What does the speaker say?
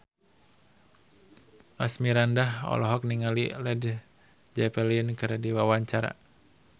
Asmirandah olohok ningali Led Zeppelin keur diwawancara